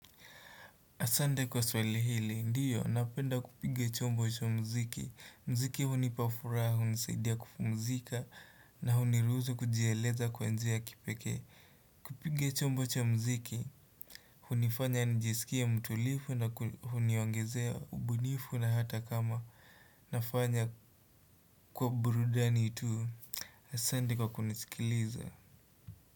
Asante kwa swali hili, ndiyo, napenda kupigia chombo cha mziki. Mziki hunipafuraha, hunisaidia kupumzika, na huniruhusu kujieleza kwa njia ya kipeke. Kupigia chombo cha mziki, hunifanya nijisikie mtulifu na huniongezea ubunifu na hata kama nafanya kwa burudani tu. Asante kwa kunisikiliza.